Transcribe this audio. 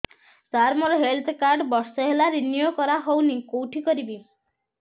ସାର ମୋର health card ବର୍ଷେ ହେଲା ରିନିଓ କରା ହଉନି କଉଠି କରିବି